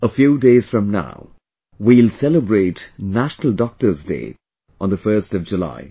a few days from now we will celebrate National Doctors Day on the 1st of July